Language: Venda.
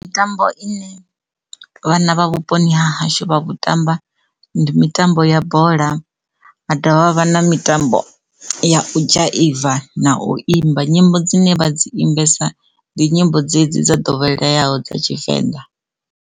Mitambo ine vhana vha vhuponi ha hashu vha vhuṱambo ndi mitambo ya bola vha ḓovha vha na mitambo ya dzhaiva na u imba nyimbo dzine vha dzi imbesiwa ndi nyimbo dzedzi dza ḓoweleaho dza Tshivenḓa.